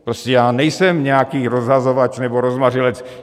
Prostě já nejsem nějaký rozhazovač nebo rozmařilec.